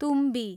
तुम्बी